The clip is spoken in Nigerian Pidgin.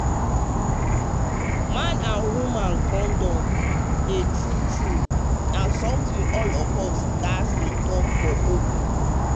man with woman condom dem true true na something all of us gats dey talk for open true true.